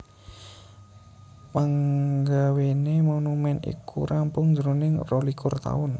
Panggawéné monumèn iku rampung jroning rolikur taun